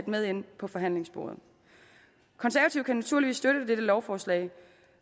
med ind på forhandlingsbordet konservative kan naturligvis støtte dette lovforslag